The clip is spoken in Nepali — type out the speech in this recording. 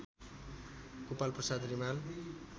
गोपालप्रसाद रिमाल